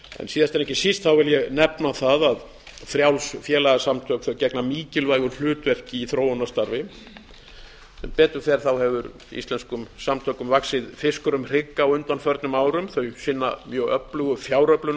síðast en ekki síst vil ég nefna það að frjáls félagasamtök gegna mikilvægu hlutverki í þróunarstarfi sem betur fer hefur íslenskum samtökum vaxið fiskur um hrygg á undanförnum árum þau sinna mjög öflugu